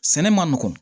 Sɛnɛ man nɔgɔn